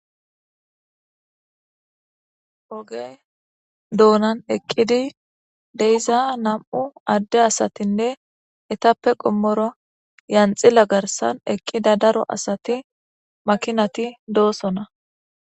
Oge donan eqidi de'iza nam'u Ade asatinne etappe qomora lanxila garsan eqida daro asati makinati dosona